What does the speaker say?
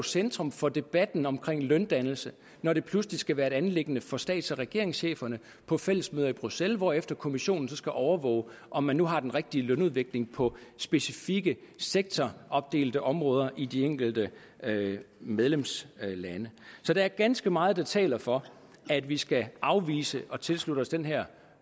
centrum for debatten omkring løndannelse når det pludselig skal være et anliggende for stats og regeringscheferne på fællesmøder i bruxelles hvorefter kommissionen så skal overvåge om man nu har den rigtige lønudvikling på specifikke sektoropdelte områder i de enkelte medlemslande så der er ganske meget der taler for at vi skal afvise at tilslutte os den her